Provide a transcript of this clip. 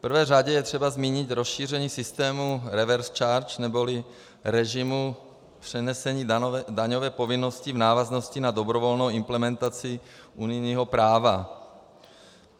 V prvé řadě je třeba zmínit rozšíření systémů reverse charge neboli režimu přenesení daňové povinnosti v návaznosti na dobrovolnou implementaci unijního práva.